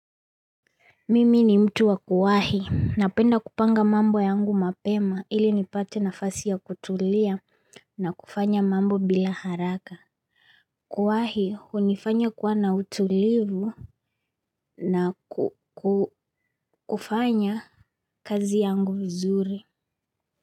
Mimi ni mtu wa kuwahi napenda kupanga mambo yangu mapema ili nipate nafasi ya kutulia na kufanya mambo bila haraka. Kuwahi hunifanya kuwa na utulivu na kufanya kazi yangu vizuri.